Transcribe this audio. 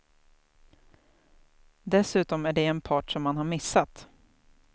Dessutom är det en part som man har missat.